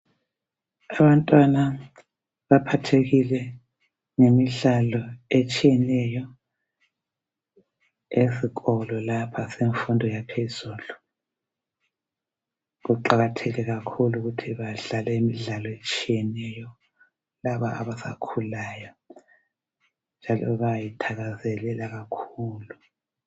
Abantwana baphathekile ngemidlalo etshiyeneyo esikolo lapha esemfundo yaphezulu. Kuqakathekile kakhulu ukuthi badlale imidlalo etshiyeneyo laba abasakhulayo njalo bayayithakazelela kakhulu .